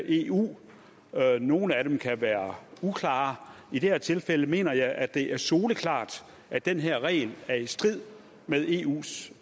eu nogle af dem kan være uklare i det her tilfælde mener jeg at det er soleklart at den her regel er i strid med eus